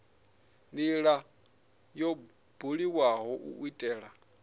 ndila yo buliwaho u itela